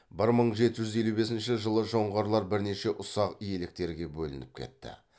бір мың жеті жүз елу бесінші жылы жоңғарлар бірнеше ұсақ иеліктерге бөлініп кетті